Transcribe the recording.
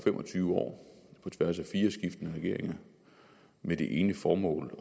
tyve år på tværs af fire skiftende regeringer med det ene formål